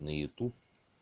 на ютуб